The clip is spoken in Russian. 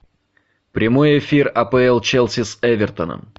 прямой эфир апл челси с эвертоном